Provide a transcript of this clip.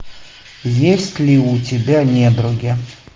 есть ли у тебя недруги